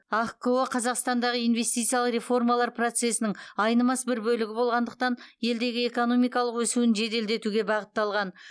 ахқо қазақстандағы инвестициялық реформалар процесінің айнымас бір бөлігі болғандықтан елдегі экономикалық өсуін жеделдетуге бағытталған